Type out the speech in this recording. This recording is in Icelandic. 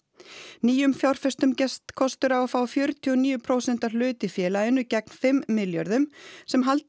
nýjum fjárfestum gefst kostur á að fá fjörutíu og níu prósenta hlut í félaginu gegn fimm milljörðum sem haldi